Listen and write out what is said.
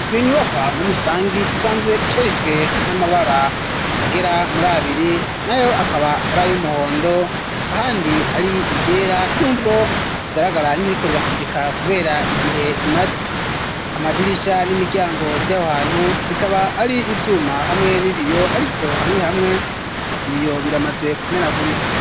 Iyo nyubokwaha muri rusangi isanzwe isharijwe n'amabara agera muri abiri na yo akaba arayo umuhondo handi ari igera n'ubwo rigaragara nk'irikorirafudikaha, kubera igihe imaze amadirisha n'imiryango vy'abo hantu bikaba ari ivyuma hamwe n'ibiyo, ariko hamwe hamwe ibiyo biramaze kumena gurika.